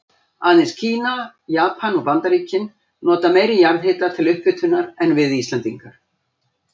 Aðeins Kína, Japan og Bandaríkin nota meiri jarðhita til upphitunar en við Íslendingar.